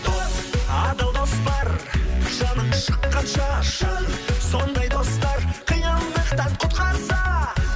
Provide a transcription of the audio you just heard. дос адал дос бар жаның шыққанша шын сондай достар қиындықтан құтқарса